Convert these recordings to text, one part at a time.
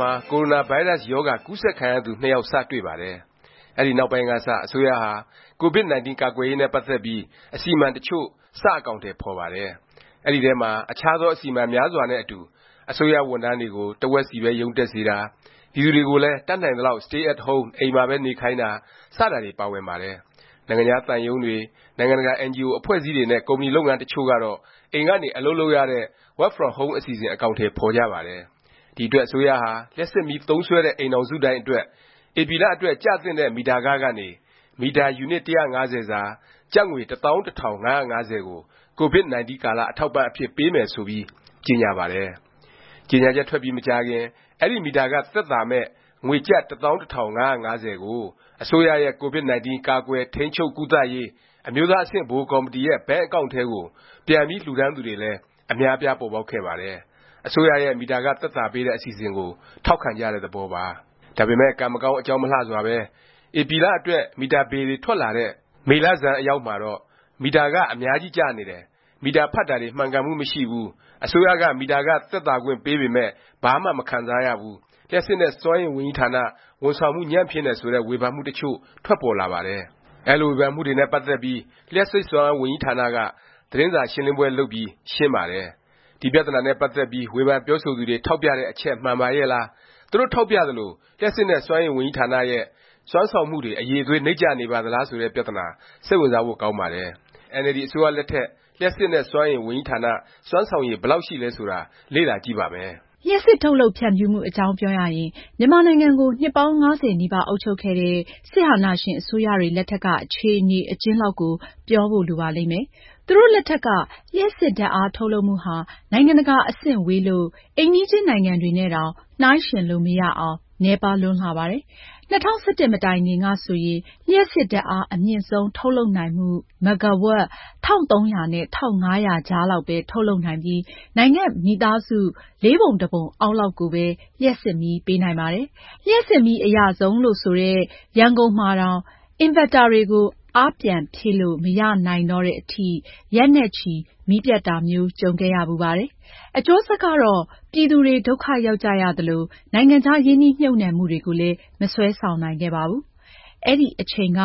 မှာ ကိုရိုနာဗိုင်းရပ်စ် ရောဂါ ကူးစက်ခံရသူ (၂) ယောက် စတွေ့ပါတယ်။ အဲဒီနောက်ပိုင်းကစ အစိုးရဟာ COVID-19 ကာကွယ်ရေးနဲ့ ပတ်သက်ပြီး အစီအမံ တစ်ချို့ စ အကောင်အထည် ဖော်ပါတယ်။ အဲဒီထဲမှာ အခြားသော အစီအမံ များစွာနဲ့ အတူ အစိုးရ ဝန်ထမ်းတွေကို တစ်ဝက်စီပဲ ရုံးတက်စေတာ၊ ပြည်သူတွေကိုလည်း တတ်နိုင်သလောက် stay at home အိမ်မှာပဲ နေခိုင်းတာ စတာတွေ ပါဝင်ပါတယ်။ နိုင်ငံခြားသံရုံးတွေ၊ နိုင်ငံတကာ အင်န်ဂျီအို အဖွဲ့အစည်းတွေ နဲ့ ကုမ္ပဏီလုပ်ငန်း တစ်ချို့ကတော့ အိမ်ကနေ အလုပ်လုပ်ရတဲ့ work from home အစီအစဉ် အကောင်အထည် ဖော်ကြပါတယ်။ ဒီအတွက် အစိုးရဟာ လျှပ်စစ်မီး သုံးစွဲတဲ့ အိမ်ထောင်စုတိုင်းအတွက် ဧပြီလ အတွက် ကျသင့်တဲ့ မီတာခ ကနေ မီတာ ယူနစ် ၁၅၀ စာ ကျပ်ငွေ ၁၁၅၅၀ ကို COVID-19 ကာလ အထောက်အပံ့အဖြစ် ပေးမယ် ဆိုပြီး ကြေငြာပါတယ်။ ကြေငြာချက် ထွက်ပြီး မကြာခင် အဲဒီမီတာခ သက်သာမယ့် ငွေကျပ် ၁၁၅၅၀ ကို အစိုးရရဲ့ COVID-19 ကာကွယ်၊ထိန်းချုပ်၊ ကုသရေး အမျိုးသား အဆင့်ဗဟိုကော်မတီရဲ့ ဘဏ်အကောင့်န်တွေထဲ ပြန်ပြီး လှူဒါန်းသူတွေလည်း အများအပြား ပေါ်ပေါက်ခဲ့ပါတယ်။ အစိုးရရဲ့ မီတာခ သက်သာပေးတဲ့ အစီအစဉ်ကို ထောက်ခံကြတဲ့ သဘောပါ။ ဒါပေမယ့် ကံမကောင်း အကြောင်းမလှစွာပဲ ဧပြီလ အတွက် မီတာဘေလ်တွေ ထွက်လာတဲ့ မေလဆန်းအရောက်မှာတော့ မီတာခ အများကြီး ကျနေတယ်၊ မီတာ ဖတ်တာတွေ မှန်ကန်မှု မရှိဘူး၊ အစိုးရက မီတာခ သက်သာခွင့် ပေးပေမယ့် ဘာမှ မခံစားရဘူး၊ လျှပ်စစ်နဲ့ စွမ်းအင်ဝန်ကြီးဌာန ဝန်ဆောင်မှု ညံ့ဖျင်းတယ် ဆိုတဲ့ ဝေဖန်မှုတစ်ချို့ ထွက်ပေါ်လာပါတယ်။ အဲလို ဝေဖန်မှုတွေနဲ့ ပတ်သက်ပြီး လျှပ်စစ်စွမ်းအား ဝန်ကြီးဌာနက သတင်းစာရှင်းလင်းပွဲ လုပ်ပြီး ရှင်းပါတယ်။ ဒီ ပြသနာနဲ့ ပတ်သက်ပြီး ဝေဖန်ပြောဆိုသူတွေ ထောက်ပြတဲ့အချက် မှန်ပါရဲ့လား၊ သူတို့ ထောက်ပြသလို လျှပ်စစ်နဲ့ စွမ်းအင်ဝန်ကြီးဌာနရဲ့ စွမ်းဆောင်မှုတွေ အရည်အသွေး နိမ့်ကျနေပါသလား ဆိုတဲ့ ပြသနာ စိတ်ဝင်စားဖို့ ကောင်းပါတယ်။ ခုတစ်ပတ် အင်န်အယ်လ်ဒီ အစိုးရလက်ထက် လျှပ်စစ်နဲ့ စွမ်းအင် ဝန်ကြီးဌာန စွမ်းဆောင်ရည် ဘယ်လောက် ရှိသလဲ ဆိုတာ လေ့လာကြည့်ပါမယ်။ လျှပ်စစ် ထုတ်လုပ် ဖြန့်ဖြူးမှု အကြောင်းပြောရင် မြန်မာနိုင်ငံကို နှစ်ပေါင်း ၅၀ နီးပါး အုပ်ချုပ်ခဲ့တဲ့ စစ်အာဏာရှင် အစိုးရတွေ လက်ထက်က အခြေအနေ အကျဉ်းလောက် ပြောဖို့ လိုပါလိမ့်မယ်။ သူတို့လက်ထက်က လျှပ်စစ်ဓာတ်အား ထုတ်လုပ်မှုဟာ နိုင်ငံတကာ အဆင့်ဝေးလို့ အိမ်နီးချင်းနိုင်ငံတွေနဲ့တောင် နှိုင်းယှဉ်လို့ မရအောင် နည်းပါးလွန်းလှပါတယ်။ ၂၀၁၁ မတိုင်ခင်က ဆိုရင် လျှပ်စစ်ဓာတ်အား အမြင့်ဆုံး ထုတ်လုပ်နိုင်မှု မဂ္ဂါဝပ် ၁၃၀၀ နဲ့ ၁၅၀၀ ကြားလောက်ပဲ ထုတ်လုပ်နိုင်ပြီး နိုင်ငံ့မိသားစု လေးပုံတစ်ပုံ အောက်လောက်ကိုပဲ လျှပ်စစ်မီး ပေးနိုင်ပါတယ်။ လျှပ်စစ်မီး အရဆုံးလို့ ဆိုတဲ့ ရန်ကုန်မှာတောင် အင်ဗက်တာတွေကို အားပြန်ဖြည့်လို့ မရနိုင်တော့တဲ့အထိ ရက်နဲ့ချီ မီးပြတ်တာမျိုး ကြုံခဲ့ရဖူးပါတယ်။ အကျိုးဆက်ကတော့ ပြည်သူတွေ ဒုက္ခရောက်ကြရသလို၊ နိုင်ငံခြား ရင်းနှီးမြှုပ်နှံမှုတွေကိုလည်း မဆွဲဆောင်နိုင်ခဲ့ပါဘူး။ အဲဒီအချိန်က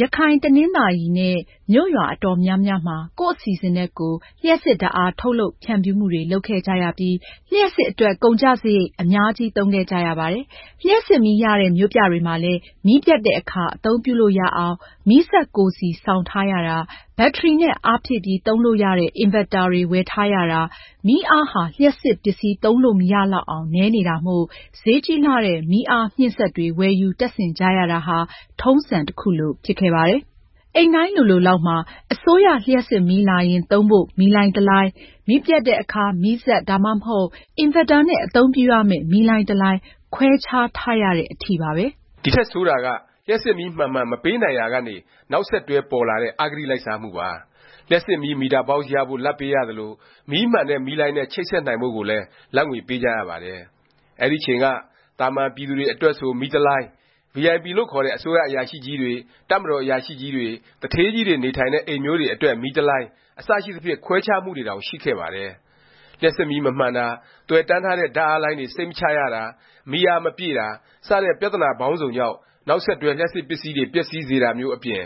ရခိုင်၊ တနင်္သာရီနဲ့ မြို့ရွာ အတော်များများမှာ ကိုယ့်အစီအစဉ်နဲ့ ကိုယ် လျှပ်စစ်ဓာတ်အား ထုတ်လုပ်ဖြန့်ဖြူးမှုတွေ လုပ်ခဲ့ကြရပြီး လျှပ်စစ်အတွက် ကုန်ကျစားရိတ် အများကြီး သုံးခဲ့ကြရပါတယ်။ လျှပ်စစ်မီး ရတဲ့ မြို့ပြတွေမှာလည်း မီးပြတ်တဲ့အခါ အသုံးပြုလို့ရအောင် မီးစက်ကိုယ်စီ ဆောင်ထားရတာ၊ ဘတ္တရီနဲ့ အားဖြည့်ပြီး သုံးလို့ရတဲ့ အင်ဗက်တာတွေ ဝယ်ထားရတာ၊ မီးအားဟာ လျှပ်စစ်ပစ္စည်း သုံးလို့ မရလောက်အောင် နည်းနေတာမို့ ဈေးကြီးလှတဲ့ မီးအားမြှင့်စက်တွေ ဝယ်ယူ တပ်ဆင်ကြရတာဟာ ထုံးစံ တစ်ခုလို ဖြစ်ခဲ့ပါတယ်။ အိမ်တိုင်းလိုလိုလောက်မှာ အစိုးရလျှပ်စစ်မီးလာရင် သုံးဖို့ မီးလိုင်းတစ်လိုင်း၊ မီးပျက်တဲ့အခါ မီးစက်၊ ဒါမှမဟုတ် အင်ဗက်တာနဲ့ အသုံးပြုရမယ့် မီးလိုင်းတစ်လိုင်း ခွဲခြားထားရတဲ့အထိပါပဲ။ ဒီထက် ဆိုးတာက လျှပ်စစ်မီး မှန်မှန် မပေးနိုင်ရာကနေ နောက်ဆက်တွဲပေါ်လာတဲ့ အဂတိလိုက်စားမှုပါ။ လျှပ်စစ်မီး မီတာဘောက်စ် ရဖို့ လာဘ်ပေးရသလို၊ မီးမှန်တဲ့ မီးလိုင်းနဲ့ ချိတ်ဆက်နိုင်ဖို့ကိုလည်း လာဘ်ငွေ ပေးကြရပါတယ်။ အဲဒီအချိန်က သာမန်ပြည်သူတွေ အတွက်ဆို မီးတစ်လိုင်း၊ ဗွီအိုင်ပီ လို့ ခေါ်တဲ့ အစိုးရအရာရှိကြီးတွေ၊ တပ်မတော် အရာရှိကြီးတွေ၊ သူဌေးကြီးတွေ နေထိုင်တဲ့ အိမ်မျိုးတွေ အတွက် မီးတစ်လိုင်း အစရှိသဖြင့် ခွဲခြားမှုတွေတောင် ရှိခဲ့ပါတယ်။ လျှပ်စစ်မီး မမှန်တာ၊ သွယ်တန်းထားတဲ့ ဓာတ်အားလိုင်းတွေ စိတ်မချရတာ၊ မီးအားမပြည့်တာ စတဲ့ ပြသနာပေါင်းစုံကြောင့် နောက်ဆက်တွဲ လျှပ်စစ်ပစ္စည်းတွေ ပျက်စီးတာမျိုးအပြင်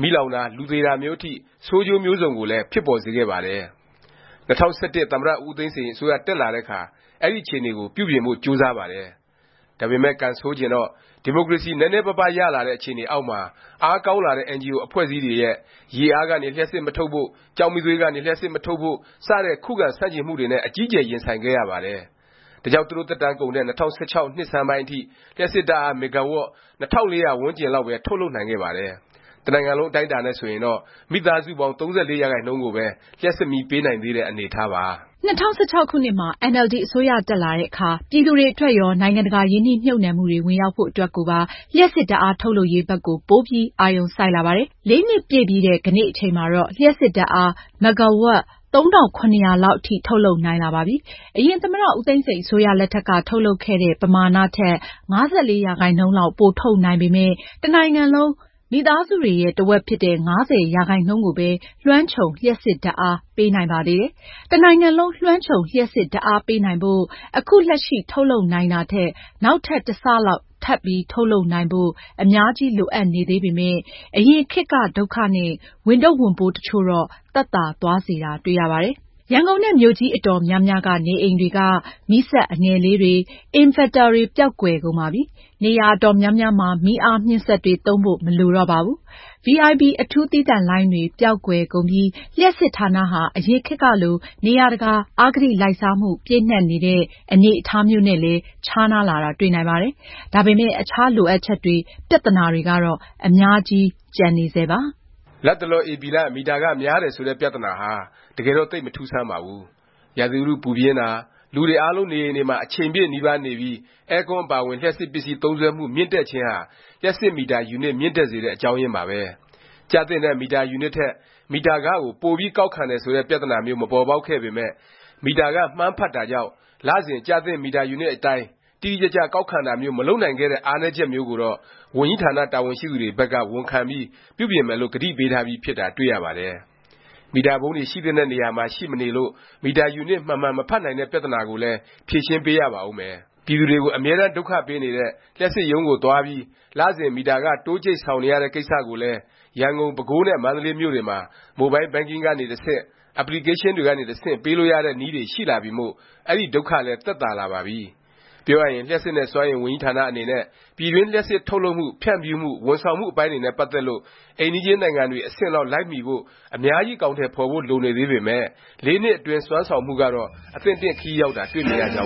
မီးလောင်တာ၊ လူသေတာမျိုး အထိ ဆိုးကျိုးမျိုးစုံကိုလည်း ဖြစ်ပေါ်စေခဲ့ပါတယ်။ ၂၀၁၁ သမ္မတ ဦးသိန်းစိန် အစိုးရ တက်လာတဲ့အခါ အဲဒီ အခြေအနေကို ပြုပြင်ဖို့ ကြိုးစားပါတယ်။ ဒါပေမယ့် ကံဆိုးချင်တော့ ဒီမိုကရေစီ နည်းနည်းပါးပါး ရလာတဲ့ အခြေအနေအောက်မှာ အားကောင်းလာတဲ့ အင်န်ဂျီအို အဖွဲ့အစည်းတွေရဲ့ ရေအားကနေ လျှပ်စစ် မထုတ်ဖို့၊ ကျောက်မီးသွေးကနေ လျှပ်စစ်မထုတ်ဖို့ စတဲ့ ခုခံ ဆန့်ကျင်မှုတွေနဲ့ အကြီးအကျယ် ရင်ဆိုင်ခဲ့ရပါတယ်။ ဒါကြောင့် သူတို့ သက်တမ်းကုန်တဲ့ ၂၀၁၆ နှစ်ဆန်းအထိ လျှပ်စစ်ဓာတ်အား မဂ္ဂါဝပ် ၂၄၀၀ ဝန်းကျင်လောက်ပဲ ထုတ်လုပ်နိုင်ခဲ့ပါတယ်။ တစ်နိုင်ငံလုံး အတိုင်းအတာနဲ့ ဆိုရင်တော့ မိသားစုပေါင်း ၃၄ ရာခိုင်နှုန်းကိုပဲ လျှပ်စစ်မီးပေးနိုင်သေးတဲ့ အနေအထားပါ။ ၂၀၁၆ အင်န်အယ်လ်ဒီ အစိုးရ တက်လာတဲ့အခါ ပြည်သူတွေအတွက်ရော၊ နိုင်ငံတကာ ရင်းနှီးမြှုပ်နှံမှုတွေ ဝင်ရောက်ဖို့ အတွက်ကိုပါ လျှပ်စစ်ဓာတ်အား ထုတ်လုပ်ရေးဘက်ကို ပိုပြီး အာရုံစိုက်လာပါတယ်။ ၄ နှစ်ပြည့်ပြီးတဲ့ ကနေ့ အချိန်မှာတော့ လျှပ်စစ်ဓာတ်အား မဂ္ဂါဝပ် ၃၇၀၀ လောက်အထိ ထုတ်လုပ်နိုင်လာပါပြီ။ အရင် သမ္မတ ဦးသိန်းစိန် အစိုးရ လက်ထက်က ထုတ်လုပ်ခဲ့တဲ့ ပမာဏ ထက် ၅၄% လောက် ပိုထုတ်နိုင်ပေမယ့် တစ်နိုင်ငံလုံး မိသားစုတွေရဲ့ တစ်ဝက်ဖြစ်တဲ့ ၅၀ ရာခိုင်နှုန်းကိုပဲ လွှမ်းခြုံ လျှပ်စစ်ဓာတ်အား ပေးနိုင်ပါသေးတယ်။ တစ်နိုင်ငံလုံး လွှမ်းခြုံ လျှပ်စစ်ဓာတ်အားပေးနိုင်ဖို့၊ အခုလက်ရှိ ထုတ်လုပ်နိုင်တာထက် နောက်ထပ် တစ်ဆ လောက် ထပ်ထုတ်လုပ်နိုင်ဖို့ အများကြီးလိုအပ်နေသေးပေမယ့် အရင်ခေတ်က ဒုက္ခနဲ့ ဝန်ထုတ်ဝန်ပိုး တစ်ချို့တော့ သက်သာသွားစေတာ တွေ့ရပါတယ်။ ရန်ကုန်နဲ့ မြို့ကြီး အတော်များများက နေအိမ်တွေက မီးစက် အငယ်လေးတွေ၊ အင်ဗက်တာတွေ ပျောက်ကွယ်ကုန်ပါပြီ။ နေရာ အတော်များများမှာ မီးအားမြှင့်စက်တွေ သုံးဖို့ မလိုတော့ပါဘူး။ ဗွီအိုင်ပီ အထူးသီးသန့်လိုင်းတွေ ပျောက်ကွယ်ကုန်ပြီး လျှပ်စစ်ဌာနဟာ အရင်ခေတ်ကလို နေရာတကာ အဂတိလိုက်စားမှု ပြည့်နှက်နေတဲ့ အနေအထားမျိုးနဲ့လည်း ခြားနားလာတာ တွေ့နိုင်ပါတယ်။ ဒါပေမယ့် အခြား လိုအပ်ချက်တွေ ပြသနာတွေကတော့ အများကြီးကျန်နေဆဲပါ။ လတ်တလော ဧပြီလ မီတာခ များတယ် ဆိုတဲ့ ပြသနာဟာ တကယ်တော့ သိပ် မထူးဆန်းပါဘူး။ ရာသီဥတု ပူပြင်းတာ၊ လူတွေအားလုံး နေအိမ်တွေမှာ အချိန်ပြည့်နီးပါးနေပြီး အဲကွန်းအပါအဝင် လျှပ်စစ်ပစ္စည်း သုံးစွဲမှု မြင့်တက်ခြင်းဟာ လျှပ်စစ်မီတာ ယူနစ် မြင့်တက်စေတဲ့ အကြောင်းရင်းပါပဲ။ ကျသင့်တဲ့ မီတာယူနစ်ထက် မီတာခ ကို ပိုပြီးကောက်ခံတယ် ဆိုတဲ့ ပြသနာမျိုး မပေါ်ပေါက်ခဲ့ပေမယ့် မီတာခ မှန်းဖတ်တာကြောင့် လစဉ် ကျသင့်မီတာယူနစ် အတိုင်း တိတိကျကျ ကောက်ခံတာမျိုး မလုပ်နိုင်ခဲ့တဲ့ အားနည်းချက်မျိုးကိုတော့ ဝန်ကြီးဌာန တာဝန်ရှိသူတွေဘက်က ဝန်ခံပြီး ပြုပြင်မယ်လို့ ကတိပေးထားပြီး ဖြစ်တာ တွေ့ရပါတယ်။ မီတာပုံးတွေ ရှိသင့်တဲ့ နေရာမှာ ရှိမနေလို့ မီတာယူနစ် မှန်မှန် မဖတ်နိုင်တဲ့ ပြသနာကိုလည်း ဖြေရှင်းပေးရပါဦးမယ်။ ပြည်သူတွေကို အမြဲတန်း ဒုက္ခပေးနေတဲ့ လျှပ်စစ်ရုံးကို သွားပြီး လစဉ် မီတာခ တိုးကြိတ် ဆောင်နေရတဲ့ ကိစ္စကိုလည်း ရန်ကုန်၊ ပဲခူးနဲ့ မန္တလေး မြို့တွေမှာ Mobile Banking ကနေ တဆင့်၊ Application တွေကနေ တစ်ဆင့် ပေးလို့ရတဲ့နည်းတွေ ရှိလာပြီမို့ အဲဒီဒုက္ခလည်း သက်သာလာပါပြီ။ ပြောရရင် လျှပ်စစ်နဲ့ စွမ်းအင် ဝန်ကြီးဌာနအနေနဲ့ ပြည်တွင်း လျှပ်စစ်ထုတ်လုပ်မှု၊ ဖြန့်ဖြူးမှု၊ ဝန်ဆောင်မှု အပိုင်းတွေနဲ့ ပတ်သက်လို့ အိမ်နီးချင်းနိုင်ငံတွေ အဆင့်လောက် လိုက်မီဖို့ အများကြီး အကောင်အထည် ဖော်ဖို့ လိုနေသေးပေမယ့် ၄ နှစ်အတွင်း စွမ်းဆောင်မှုကတော့ အသင့်အတင့် ခရီးရောက်တာ တွေ့မြင်ရကြ